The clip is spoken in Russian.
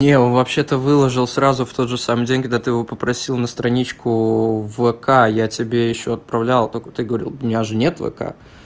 не он вообще то выложил сразу в тот же самый день когда ты его попросил на страничку в вк я тебе ещё отправлял только ты говорил у меня же нет вк